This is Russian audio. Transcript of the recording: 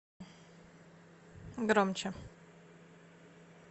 громче